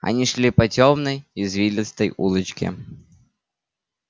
они шли по тёмной извилистой улочке